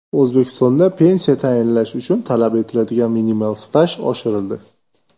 O‘zbekistonda pensiya tayinlash uchun talab etiladigan minimal staj oshirildi .